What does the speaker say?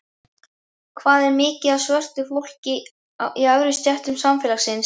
Hvað er mikið af svörtu fólki í efri stéttum samfélagsins?